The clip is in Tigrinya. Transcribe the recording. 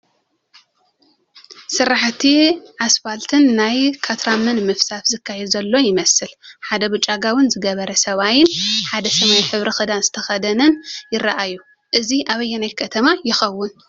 ስራሕቲ ኣስፊልትን ናይ ካትራመ ምፍሳስን ዝካየድ ዘሎ ይመስል፡፡ ሓደ ብጫ ጋቦን ዝገበረ ሰብኣይን ሓደ ሰማይ ሕብሪ ክዳን ዝተኸደነን ይራኣዩ፡፡ እዚ ኣበየናይ ከተማ ይኸውን?